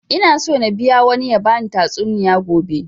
Ina so na biya wani ya bani tatsuniya gobe